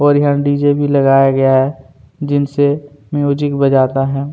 और यहाँ डीजे भी लगाया गया है जिनसे से म्यूजिक बजता है।